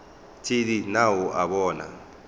thedi na o a bona